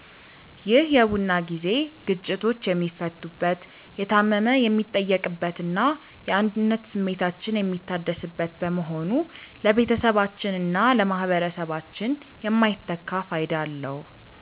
ይህ የቡና ጊዜ ግጭቶች የሚፈቱበት፣ የታመመ የሚጠየቅበትና የአንድነት ስሜታችን የሚታደስበት በመሆኑ ለቤተሰባችንና ለማኅበረሰባችን የማይተካ ፋይዳ አለው።